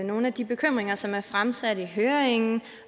nogle af de bekymringer som er fremsat i høringen